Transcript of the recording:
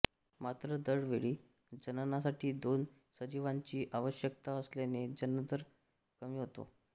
मात्र दर वेळी जननासाठी दोन सजीवांची आवश्यकता असल्याने जननदर कमी होतो